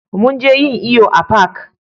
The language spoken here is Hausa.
Mun je yin iyo a fak